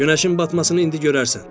Günəşin batmasını indi görərsən.